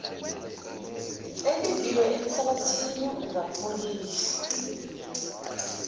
elimbiwe enhlabathini ungapholishwa